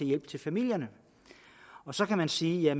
hjælp til familierne så kan man sige at